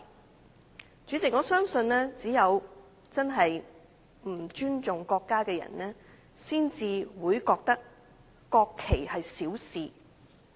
代理主席，我相信只有不尊重國家的人才會認為國旗是小事。